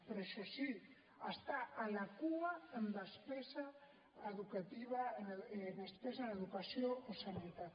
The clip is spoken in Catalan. però això sí està a la cua en despesa en educació o sanitat